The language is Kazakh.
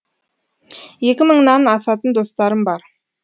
екі мыңнан асатын достарым бар